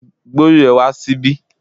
Gbé orí ẹ wá síbí